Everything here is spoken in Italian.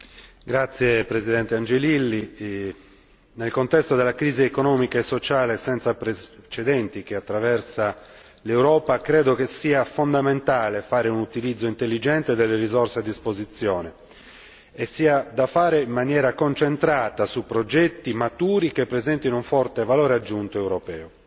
Signora Presidente, nel contesto della crisi economica e sociale senza precedenti che attraversa l'Europa, credo sia fondamentale fare un utilizzo intelligente delle risorse a disposizione e farlo in maniera concentrata su progetti maturi, che presentino un forte valore aggiunto europeo.